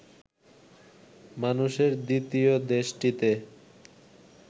মানুষের দ্বিতীয় দেশটিতে